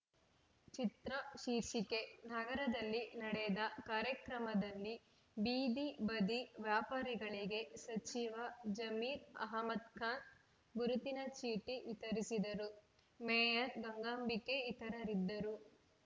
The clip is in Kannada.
ಚಿತ್ರ ಶೀರ್ಷಿಕೆ ನಗರದಲ್ಲಿ ನಡೆದ ಕಾರ‍್ಯಕ್ರಮದಲ್ಲಿ ಬೀದಿ ಬದಿ ವ್ಯಾಪಾರಿಗಳಿಗೆ ಸಚಿವ ಜಮೀರ್‌ ಅಹ್ಮದ್‌ ಖಾನ್‌ ಗುರುತಿನ ಚೀಟಿ ವಿತರಿಸಿದರು ಮೇಯರ್‌ ಗಂಗಾಂಬಿಕೆ ಇತರರಿದ್ದರು